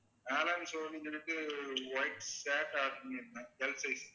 white shirt order பண்ணியிருந்தேன் Lsize